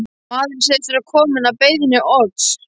Maðurinn segist vera kominn að beiðni Odds.